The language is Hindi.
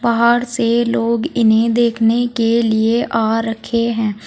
बाहर से लोग इन्हें देखने के लिए आ रखे हैं।